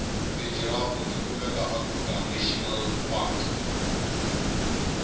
tijfrhafu tikumeka a kruger national park